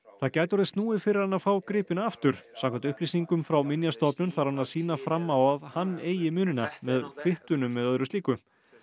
það gæti orðið snúið fyrir hann að fá gripina aftur samkvæmt upplýsingum frá Minjastofnun þarf hann að sýna fram á að hann eigi munina með kvittunum eða öðru slíku